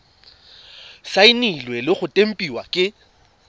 saenilwe le go tempiwa ke